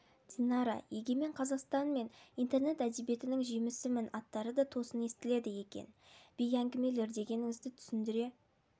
динара егемен қазақстан мен интернет әдебиетінің жемісімін аттары да тосын естіледі екен бей әңгімелер дегеніңізді түсіндіре